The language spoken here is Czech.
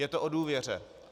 Je to o důvěře.